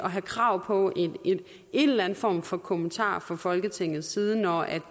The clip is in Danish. have krav på en eller anden form for kommentar fra folketingets side når